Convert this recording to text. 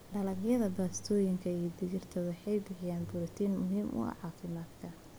Dalagyada baastooyinka iyo digirta waxay bixiyaan borotiin muhiim ah oo caafimaadka.